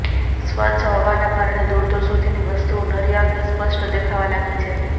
સ્વચ્છ હવાના કારણે દૂર દૂર સુધીની વસ્તુઓ નરી આંખે સ્પષ્ટ દેખાવા લાગી છે